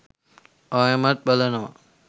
ආයෙමත් බලනවා